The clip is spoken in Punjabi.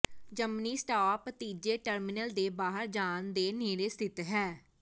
ਜਮਨੀ ਸਟਾਪ ਤੀਜੇ ਟਰਮੀਨਲ ਦੇ ਬਾਹਰ ਜਾਣ ਦੇ ਨੇੜੇ ਸਥਿਤ ਹੈ